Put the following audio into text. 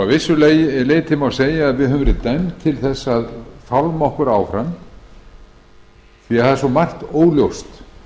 segja að við höfum verið dæmd til þess að fálma okkur áfram því að það er svo margt óljóst